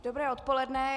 Dobré odpoledne.